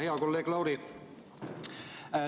Hea kolleeg Lauri!